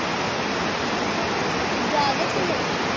ਠੀਕ ਆ ਦੂਜਾ ਆਗਿਆ ਸੋਨੂੰ।